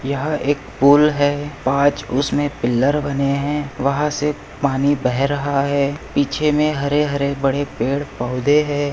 यहाँ एक पुल है पांच उसमे पिल्लर बने है वहाँ से पानी बह रहा है पीछे मे हरे हरे बड़े पेड़ पौधे है।